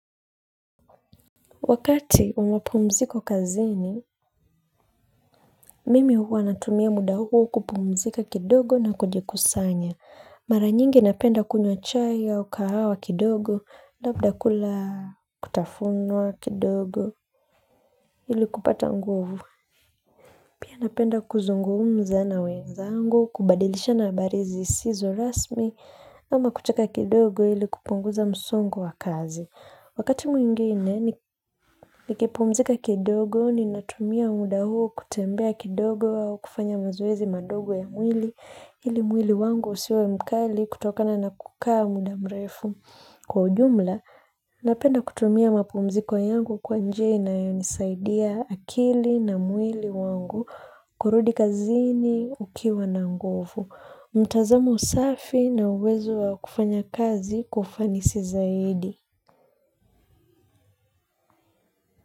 Wakati wa mapumziko kazini, mimi huwa natumia muda huo kupumzika kidogo na kujikusanya. Mara nyingi napenda kunywa chai au kahawa kidogo, labda kula vitafunwa kidogo ili kupata nguvu. Pia napenda kuzungumza na wenzangu, kubadilishana habari zisizo rasmi, ama kucheka kidogo ili kupunguza msongo wa kazi. Wakati mwingine, nikipumzika kidogo ninatumia muda huo kutembea kidogo au kufanya mzoezi madogo ya mwili, ili mwili wangu usiwe mkali kutokana na kukaa muda mrefu. Kwa ujumla, napenda kutumia mapumziko yangu kwa njia inayonisaidia akili na mwili wangu, kurudi kazini ukiwa na nguvu. Mtazamo safi na uwezo wa kufanya kazi kwa ufanisi zaidi.